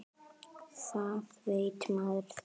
Þá veit maður það.